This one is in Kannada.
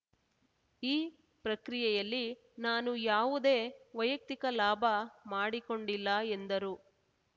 ಈ ಪ್ರಕ್ರಿಯೆಲ್ಲಿ ನಾನು ಯಾವುದೇ ವೈಯಕ್ತಿಕ ಲಾಭ ಮಾಡಿಕೊಂಡಿಲ್ಲ ಎಂದರು